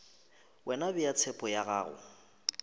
wena bea tshepo ya gago